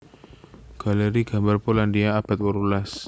Galeri gambar Polandia abad wolulas